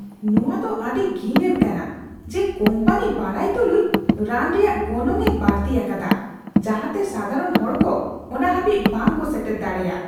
ᱱᱚᱣᱟᱫᱚ ᱟᱹᱰᱤ ᱜᱷᱤᱱᱟᱱ ᱠᱟᱱᱟ ᱡᱮ ᱠᱳᱢᱯᱟᱱᱤ ᱵᱟᱰᱟᱭ ᱛᱩᱞᱩᱡ ᱨᱟᱱ ᱨᱮᱭᱟᱜ ᱜᱚᱱᱚᱝᱼᱮ ᱵᱟᱹᱲᱛᱤ ᱟᱠᱟᱫᱟ ᱡᱟᱦᱟᱛᱮ ᱥᱟᱫᱷᱟᱨᱚᱱ ᱦᱚᱲ ᱠᱚ ᱚᱱᱟ ᱦᱟᱹᱵᱤᱡ ᱵᱟᱝᱠᱚ ᱥᱮᱴᱮᱨ ᱫᱟᱲᱮᱭᱟᱜ ᱾(ᱜᱟᱦᱟᱠ)